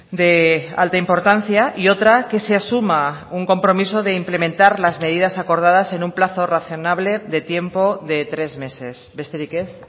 de alta importancia y otra que se asuma un compromiso de implementar las medidas acordadas en un plazo razonable de tiempo de tres meses besterik ez